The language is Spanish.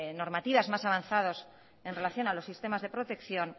normativas más avanzadas en relación a los sistemas de protección